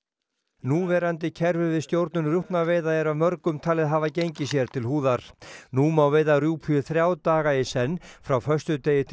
núverandi kerfi við stjórnun rjúpnaveiða er af mörgum talið hafa gengið sér til húðar nú má veiða rjúpu í þrjá daga í senn frá föstudegi til